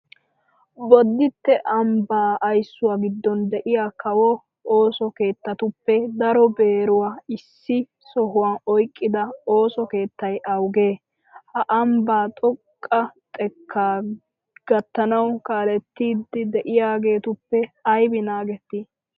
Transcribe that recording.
Bodditte ambbaa aysuwa giddon de'iya kawo ooso keettatuppe daro beeruwa issi sohuwan oyqqida ooso keettay awugee? Ha ambbaa xoqqa xekkaa gattanawu kaalettiiddi de'iyageetuppe aybi naagettii?